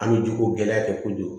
An bɛ jogoko gɛlɛya kɛ kojugu